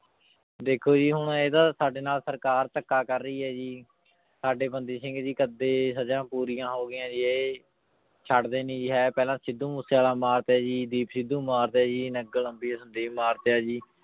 ਦੇਖੋ ਜੀ ਹੁਣ ਇਹਦਾ ਸਾਡੇ ਨਾਲ ਸਰਕਾਰ ਧੱਕਾ ਕਰ ਰਹੀ ਹੈ ਜੀ, ਸਾਡੇ ਬੰਦੀ ਸਿੰਘ ਜੀ ਕੱਦੇ ਸਜ਼ਾ ਪੂਰੀਆਂ ਹੋ ਗਈਆਂ ਜੀ ਇਹ ਛੱਡਦੇ ਨੀ ਜੀ, ਇਹ ਪਹਿਲਾਂ ਸਿੱਧੂ ਮੂਸੇਵਾਲਾ ਮਾਰਤਾ ਜੀ, ਦੀਪ ਸਿੱਧੂ ਮਾਰਤਾ ਜੀ ਸੰਦੀਪ ਮਾਰਤਾ ਜੀ।